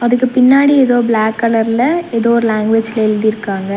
இதுக்கு பின்னாடி ஏதோ பிளாக் கலர்ல ஏதோ ஒரு லேங்வேஜ்ல எழுதிருக்காங்க.